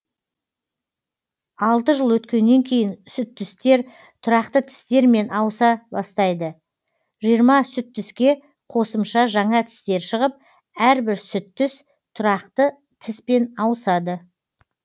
алты жыл өткеннен кейін сүттістер тұрақты тістермен ауыса бастайды жиырма сүттіске қосымша жаңа тістер шығып әрбір сүттіс тұрақты тіспен ауысады